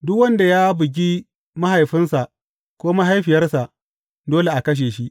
Duk wanda ya bugi mahaifinsa ko mahaifiyarsa, dole a kashe shi.